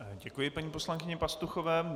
Děkuji paní poslankyni Pastuchové.